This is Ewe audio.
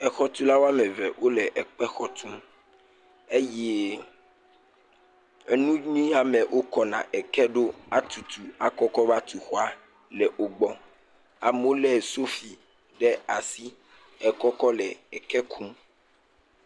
Exɔtula woame ve wole ekpe xɔ tum, eye enu yi ya me wokɔna eke ɖo atutu akɔ kɔ va tu xɔa, le wo gbɔ, amewo lé sofi ɖe asi hekɔ kɔ le eke kum.